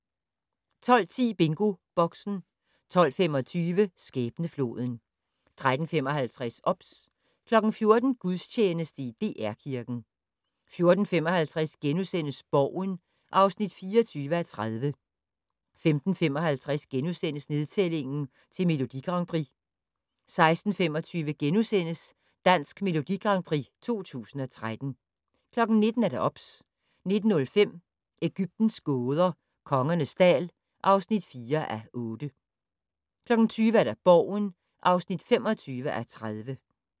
12:10: BingoBoxen 12:25: Skæbnefloden 13:55: OBS 14:00: Gudstjeneste i DR Kirken 14:55: Borgen (24:30)* 15:55: Nedtælling til Melodi Grand Prix * 16:25: Dansk Melodi Grand Prix 2013 * 19:00: OBS 19:05: Egyptens gåder - Kongernes dal (4:8) 20:00: Borgen (25:30)